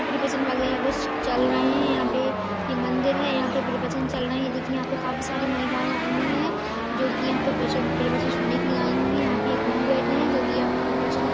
preparation वगैरा कुछ चल रहे हैं यहां पे ये मंदिर है यहां पे प्रवचन चल रही है देखिए यहां पे काफी सारी महिलाएं आयी हुई है जो कि यहां पे प्रच प्रवचन सुनने के लिए आयी हुई है यहाँ पे एक गुरु बैठे है जो की यहाँ पे प्रवचन--